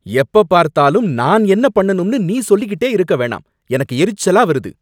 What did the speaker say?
எப்ப பார்த்தாலும் நான் என்ன பண்ணணும்னு நீ சொல்லிக்கிட்டே இருக்க வேணாம், எனக்கு எரிச்சலா வருது.